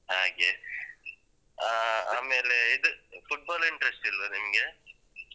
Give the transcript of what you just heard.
ಹಾಗೆ ಆ ಆಮೇಲೆ ಇದು football interest ಇಲ್ವಾ ನಿಮ್ಗೆ?